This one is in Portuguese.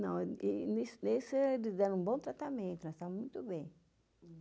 Nesse, eles deram um bom tratamento, nós estávamos muito bem.